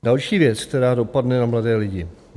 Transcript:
Další věc, která dopadne na mladé lidi.